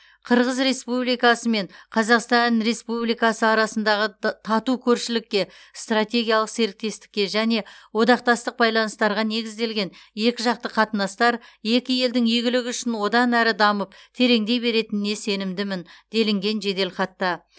қырғыз республикасы мен қазақстан республикасы арасындағы тату көршілікке стратегиялық серіктестікке және одақтастық байланыстарға негізделген екіжақты қатынастар екі елдің игілігі үшін одан әрі дамып тереңдей беретініне сенімдімін делінген жеделхатта